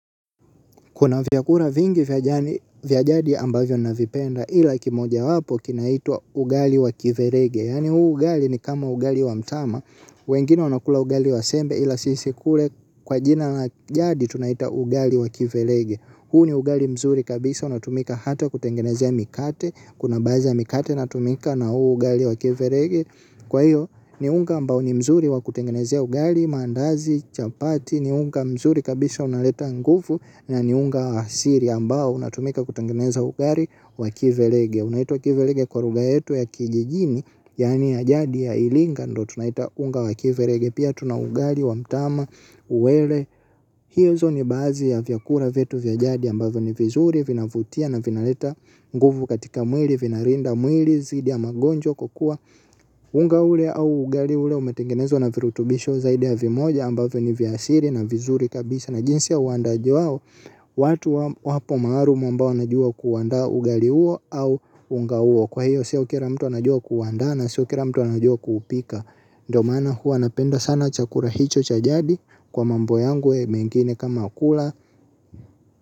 Kuna vyakula vingi vya jadi ambavyo navipenda ila kimoja wapo kinaitwa ugali wa kiverege. Yaani huu ugali ni kama ugali wa mtama. Wengine wanakula ugali wa sembe ila sisi kule kwa jina na jadi tunaiita ugali wa kiverege. Huu ni ugali mzuri kabisa unatumika hata kutengenezea mikate. Kuna baadhi mikate inatumika na huu ugali wa kiverege. Kwa hiyo ni unga ambao ni mzuri wa kutengenezea ugali, mandazi, chapati. Ni unga mzuri kabisa unaleta nguvu. Na ni unga asili ambao unatumika kutengeneza ugali wakiverege. Unaitwa kiverege kwa lugha yetu ya kijijini. Yaani ya jadi ya iringa. Ndo tunaita unga wakiverege. Pia tunaugali wa mtama uwele. Hizo ni baadhi ya vyakula vyetu vya jadi ambavyo ni vizuri vinavutia na vinaleta nguvu. Katika mwili vinalinda mwili dhidi ya magonjwa. Kukua unga ule au ugali ule umetangenezwa na virutubisho zaidi ya vimoja ambavyo ni vya asili na vizuri kabisa na jinsi ya uandaaji wao watu wapo maalum ambao wanajua kuanda ugali huo au unga huo kwa hiyo si kila mtu anajua kuandaa na sio kila mtu anajua kuupika ndio maana huwa napenda sana chakula hicho cha jadi kwa mambo yangu mengine kama kula.